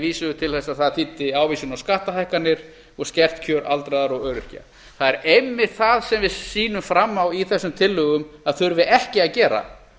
vísuðu til þess að það þýddi ávísun á skattahækkanir og skert kjör aldraðra og öryrkja það er einmitt það sem við sýnum fram á þessum tillögum að þurfi ekki að gera